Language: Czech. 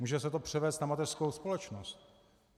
Může se to převést na mateřskou společnost.